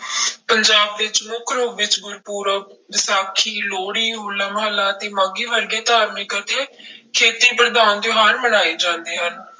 ਪੰਜਾਬ ਵਿੱਚ ਮੁੱਖ ਰੂਪ ਵਿੱਚ ਗੁਰਪੁਰਬ, ਵਿਸਾਖੀ, ਲੋਹੜੀ, ਹੋਲਾ ਮਹੱਲਾ ਅਤੇੇ ਮਾਘੀ ਵਰਗੇ ਧਾਰਮਿਕ ਅਤੇ ਖੇਤੀ ਪ੍ਰਧਾਨ ਤਿਉਹਾਰ ਮਨਾਏ ਜਾਂਦੇ ਹਨ।